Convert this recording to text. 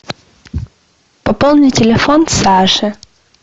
пополни телефон саши